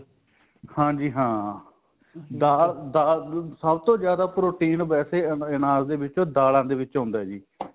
ਹਾਂਜੀ ਹਾਂ ਸਭ ਤੋਂ ਜਿਆਦਾ protein ਵੇਸੇ ਅਨਾਜ ਦੇ ਵਿੱਚ ਦਾਲਾਂ ਦੇ ਵਿਕ ਹੁੰਦਾ ਜੀ